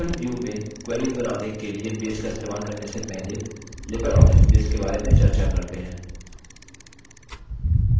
sql view में queries बनाने के लिए base का इस्तेमाल करने से पहले लिबर ऑफिस base के बारे में चर्चा करते हैं